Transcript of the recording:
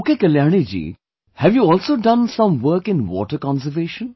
Okay Kalyani ji, have you also done some work in water conservation